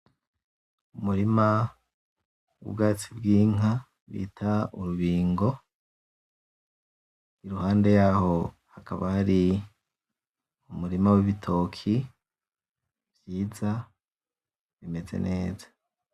Umurima w’ubwatsi bw’inka bita urubingo, iruhande yawo hakaba hari umurima w’ibitoki vyiza bimeze neza.